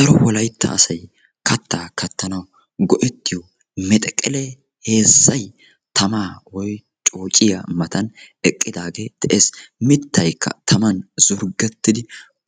Daro wolaytta asay kattaa kattanawu go"ettiyoo mexeqelee heezzay tamaa woykko coociyaa matan eqqidagee de'ees. mittaykka taman zurgettidi